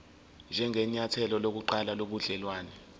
njengenyathelo lokuqala lobudelwane